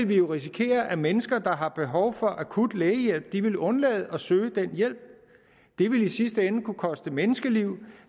vi jo risikere at mennesker der har behov for akut lægehjælp ville undlade at søge den hjælp det ville i sidste ende kunne koste menneskeliv